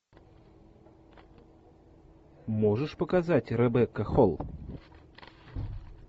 можешь показать ребекка холл